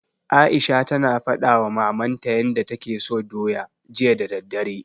Aisha tana faɗawa mamanta yanda take so doya, jiya da daddare.